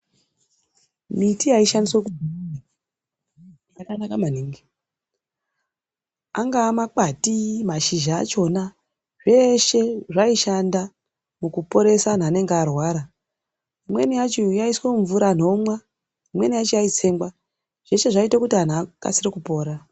Miti yaishandiswe kudhaya yakanaka maningi angave mashizha akona zveshe zvishanda mukuporesa wandu anenge arwara inweni uacho yaiswe mumvura anu omwe imweni yaitsengwa zveshe zvaita kuti wandu akasire kupona.